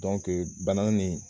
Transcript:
Dɔnke bana nin